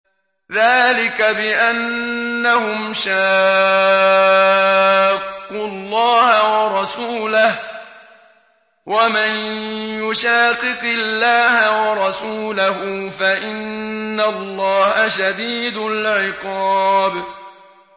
ذَٰلِكَ بِأَنَّهُمْ شَاقُّوا اللَّهَ وَرَسُولَهُ ۚ وَمَن يُشَاقِقِ اللَّهَ وَرَسُولَهُ فَإِنَّ اللَّهَ شَدِيدُ الْعِقَابِ